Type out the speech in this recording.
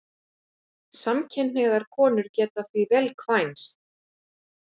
Samkynhneigðar konur geta því vel kvænst.